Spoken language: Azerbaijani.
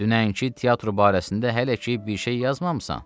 Dünənki teatr barəsində hələ ki bir şey yazmamısan?